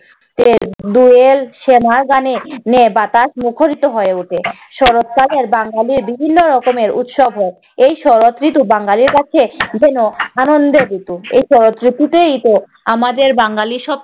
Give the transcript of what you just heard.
আহ দোয়েল শ্যামার গানে আহ বাতাস মুখরিত হয়ে ওঠে। শরৎকালের বাঙালি বিভিন্ন রকমের উৎসব হয়। এই শরৎ ঋতু বাঙালির কাছে যেন আনন্দের ঋতু। এই শরৎ ঋতুতেইতো আমাদের বাঙালি সব